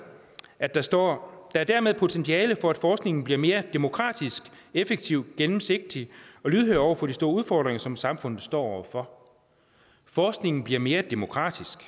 at der står der er dermed potentiale for at forskningen bliver mere demokratisk effektiv gennemsigtig og lydhør over for de store udfordringer som samfundet står over for forskningen bliver mere demokratisk